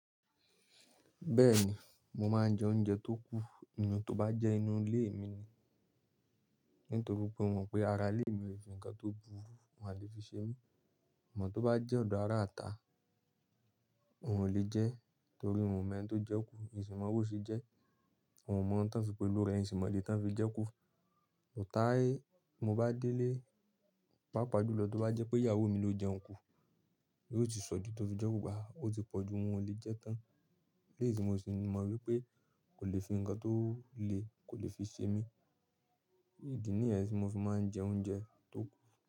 Bẹ́ẹ̀ni, mo máa ń jẹ oúnjẹ tó kú, inú tó bá jẹ́ inú ilé mi ni. Nítorí pé mo mọ̀ pé ara ilé mi ò lè fi nǹkan tó burú, wọ́n á lè fi ṣe mí. Àmọ̀ tó bá jẹ́ ọ̀dọ́ ara ta òún lè jẹ́ torí mo mọ ẹni tó jẹ́ kú, èṣì má bò ṣe jẹ́. Òún mọ̀ tán fi pé olórí rẹ́ è sì má dè tán fi jẹ́ kú. Òótá ẹ, mo bá délé, pàápàá jùlọ tí ó bá jẹ́ pé ìyàwó mi ló jẹun kú, yóò sì sọ dì tó fi jẹ́ kú bá, ó sì pọ̀jú wọ́n ò lè jẹ́ tán. Léèsì mo sì mọ̀ wípé kò lè fi nǹkan tó le kò lè fi ṣe mí. Èdì níyẹn ni mo fi máa ń jẹ oúnjẹ tó kú.